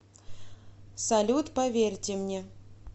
салют поверьте мне